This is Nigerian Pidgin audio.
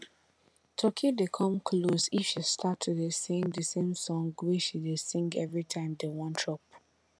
turkey dey come close if she start to dey sing di same song wey she dey sing every time dem wan chop